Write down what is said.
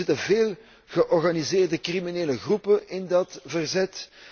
Er zitten veel georganiseerde criminele groepen in dat verzet.